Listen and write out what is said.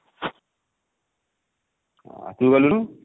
ଅ ତୁ ଗଲୁନୁ?